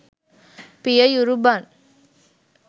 පිය යුරු බන්